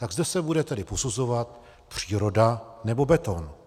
Tak zde se bude tedy posuzovat příroda, nebo beton.